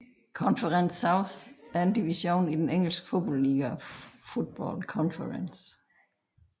Conference South er en division i den engelske fodboldliga Football Conference